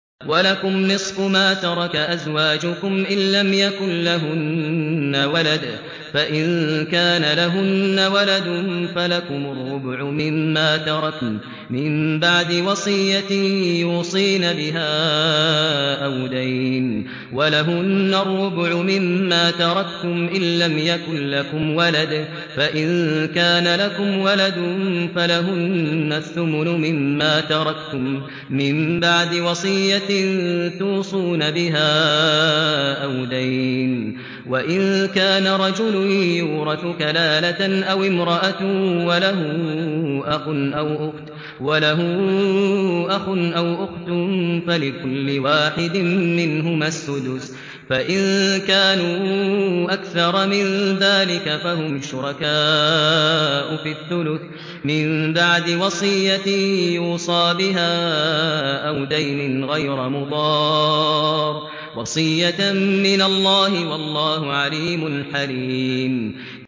۞ وَلَكُمْ نِصْفُ مَا تَرَكَ أَزْوَاجُكُمْ إِن لَّمْ يَكُن لَّهُنَّ وَلَدٌ ۚ فَإِن كَانَ لَهُنَّ وَلَدٌ فَلَكُمُ الرُّبُعُ مِمَّا تَرَكْنَ ۚ مِن بَعْدِ وَصِيَّةٍ يُوصِينَ بِهَا أَوْ دَيْنٍ ۚ وَلَهُنَّ الرُّبُعُ مِمَّا تَرَكْتُمْ إِن لَّمْ يَكُن لَّكُمْ وَلَدٌ ۚ فَإِن كَانَ لَكُمْ وَلَدٌ فَلَهُنَّ الثُّمُنُ مِمَّا تَرَكْتُم ۚ مِّن بَعْدِ وَصِيَّةٍ تُوصُونَ بِهَا أَوْ دَيْنٍ ۗ وَإِن كَانَ رَجُلٌ يُورَثُ كَلَالَةً أَوِ امْرَأَةٌ وَلَهُ أَخٌ أَوْ أُخْتٌ فَلِكُلِّ وَاحِدٍ مِّنْهُمَا السُّدُسُ ۚ فَإِن كَانُوا أَكْثَرَ مِن ذَٰلِكَ فَهُمْ شُرَكَاءُ فِي الثُّلُثِ ۚ مِن بَعْدِ وَصِيَّةٍ يُوصَىٰ بِهَا أَوْ دَيْنٍ غَيْرَ مُضَارٍّ ۚ وَصِيَّةً مِّنَ اللَّهِ ۗ وَاللَّهُ عَلِيمٌ حَلِيمٌ